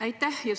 Aitäh!